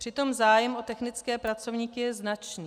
Přitom zájem o technické pracovníky je značný.